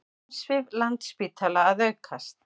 Umsvif Landspítala að aukast